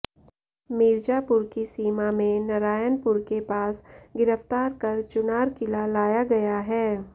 मीरजापुर की सीमा में नरायनपुर के पास गिरफ्तार कर चुनार किला लाया गया है